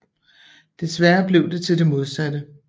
Desværre blev det til det modsatte